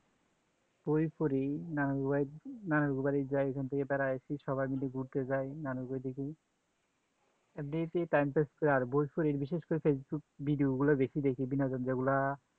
বই পড়ি নানুর বাড়ি যাই এইখান থেকে বেড়াই আসি ঘুরতে যাই না বলে বই দেখি time pass কর আর বই পড়ি বিশেষ করে facebook video গুলা দেখি বিনা ঝঞ্জা গুলা